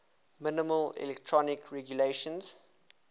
minimal economic regulations